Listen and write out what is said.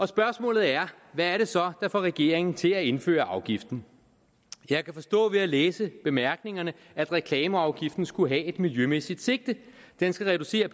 spørgsmålet er hvad er det så der får regeringen til at indføre afgiften jeg kan forstå ved at læse bemærkningerne at reklameafgiften skulle have et miljømæssigt sigte den skal reducere